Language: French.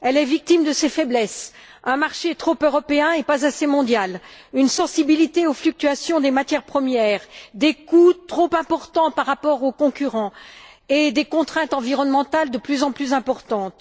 Elle est victime de ses faiblesses un marché trop européen et pas assez mondial, une sensibilité aux fluctuations des matières premières, des coûts trop importants par rapport aux concurrents et des contraintes environnementales de plus en plus importantes.